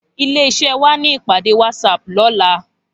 Ilé iṣè wá ni ipàdé wàtsáp lòlá